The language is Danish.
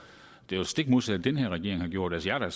det jo stik modsatte den her regering har gjort jeg er da